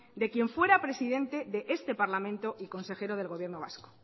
de quien fuera presidente de este parlamento y consejero del gobierno vasco